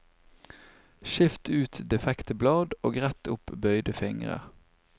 Skift ut defekte blad og rett opp bøyde fingrer.